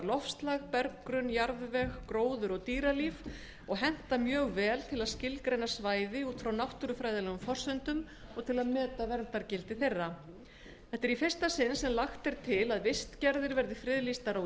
loftslag berggrunn jarðveg gróður og dýralíf og henta mjög vel til að skilgreina svæði út frá náttúrufræðilegum forsendum og til að meta verndargildi þeirra þetta er í fyrsta sinn sem lagt er til að vistgerðir séu friðlýstar á